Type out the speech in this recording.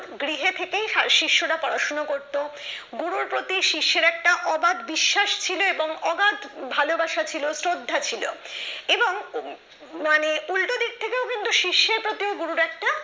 গৃহ থেকে শিষ্যরা পড়াশোনা করতো গুরুর প্রতি শিষ্যের একটা অবাধ বিশ্বাস ছিল এবং অগাধ ভালোবাসা ছিল শ্রদ্ধা ছিল এবং মানে উল্টো দিক থেকেও কিন্তু শিষ্যের প্রতি গুরুর একটা